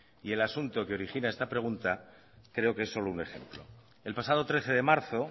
y el asunto que origina esta pregunta creo que es solo un ejemplo el pasado trece de marzo